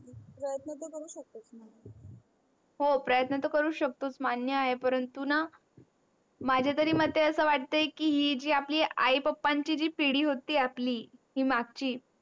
हो प्रयत्न तर करूच शकतो मान्य आहे परंतु णा माझ्या तरी मते अस वाटते कि ही जी आपली आई पप्पांची ची पिडी होती आपली ही मागची